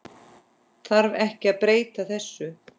Þarf ekki að breyta þessu?